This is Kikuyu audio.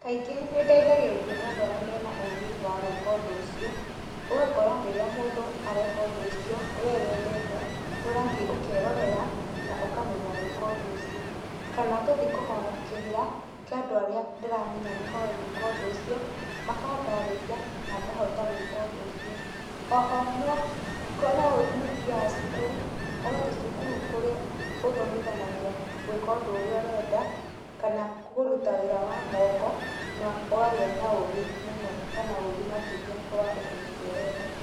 Kaingĩ nĩndeithagĩrĩrio nĩ andũ arĩa mena ũgĩ wa gũĩka ũndũ ũcio, ũgakora rĩrĩa mũndũ areka ũndũ ũcio we wendete, nĩũrathiĩ ũkerorera, na ũkamenya gũĩka ũndũ ũcio. Kana ngathiĩ kũhoya kĩrĩra, kĩa andũ arĩa ndĩramenya nĩ moĩ gũĩka ũndũ ũcio, makandarĩria na ngahota gũĩka ũndũ ũcio. Oho, no, nĩthiaga cukuru, ũgathiĩ cukuru ũrĩa ũthomithanagia gũĩka ũndũ ũrĩa ũrenda, kana kũruta wĩra wa moko, na ũkagĩa na ũgĩ mũno, kana ũgĩ makĩria wa ũndũ ũcio ũrenda.